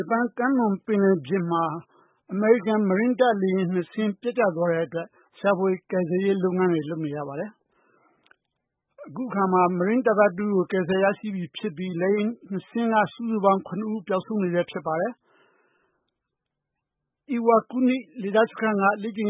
ပန် ကမ်းလွန်ပင်လယ်ပြင်မှာ အမေရိကန် ရေတပ်ရဲ့ လေယာဉ်နှစ်စင်းပျက်ကျသွားတဲ့အတွက် ရှာဖွေကယ်ဆယ်ရေး လုပ်ငန်းတွေ လုပ်နေရပါတယ်။ အခုအခါမှာ မရင်းတပ်သားတဦးကို ကယ်ဆယ်ရရှိပြီး လေယာဉ်နှစ်စင်းက စုစုပေါင်း (၇)ဦး ပျောက်ဆုံးနေဆဲဖြစ်ပါတယ်။ Iwakuni ဂျပန်လေတပ်စခန်းကနေ လေ့ကျင့်